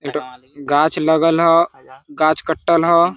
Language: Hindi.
गाछ लगल हो गाछ कट्टल हो।